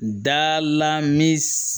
Da la min